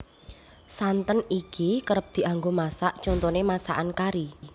Santen iki kerep dianggo masak contoné masakan kari